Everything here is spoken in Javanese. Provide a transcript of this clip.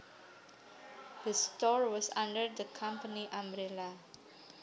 The store was under the company umbrella